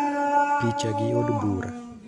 Picha gi Od Bura.